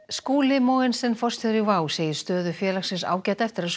Skúli Mogensen forstjóri WOW segir stöðu félagsins ágæta eftir að